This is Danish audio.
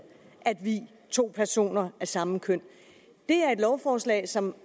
at vie to personer af samme køn det er et lovforslag som